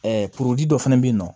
dɔ fɛnɛ bɛ yen nɔ